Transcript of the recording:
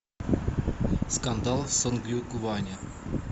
скандал в сонгюнгване